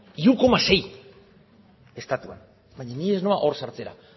hiru koma sei estatuan baina ni ez noa hor sartzera